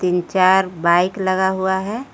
चार बाइक लगा हुआ है।